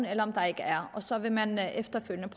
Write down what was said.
eller om der ikke er og så vil man efterfølgende